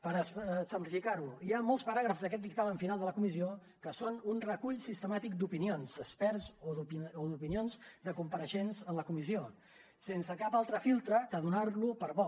per exemplificar ho hi ha molts paràgrafs d’aquest dictamen final de la comissió que són un recull sistemàtic d’opinions d’experts o d’opinions de compareixents a la comissió sense cap altre filtre que donar lo per bo